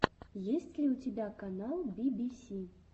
есть ли у тебя канал би би си